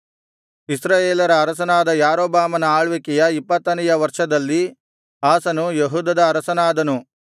ಇಸ್ರಾಯೇಲರ ಅರಸನಾದ ಯಾರೊಬ್ಬಾಮನ ಆಳ್ವಿಕೆಯ ಇಪ್ಪತ್ತನೆಯ ವರ್ಷದಲ್ಲಿ ಆಸನು ಯೆಹೂದದ ಅರಸನಾದನು